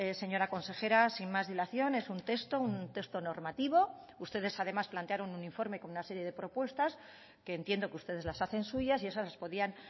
señora consejera sin más dilación es un texto un texto normativo ustedes además plantearon un informe con una serie de propuestas que entiendo que ustedes las hacen suyas y esas podían